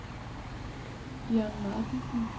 Dion Martensen